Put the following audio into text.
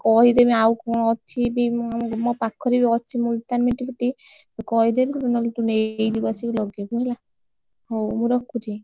ମୁଁ ତତେ କହିଦେବି, ଆଉ କଣ ଅଛିବି ମୁଁ, ଆମ ମୋ ପାଖରେ ବି ଅଛି मुलतानी मिटि କହିଦେବି, ତୁ ନହେଲେ ତୁ ନେଇଯିବୁ, ଆସିକି ଲଗେଇବୁ ହେଲା ହଉ। ମୁଁ ରଖୁଛି?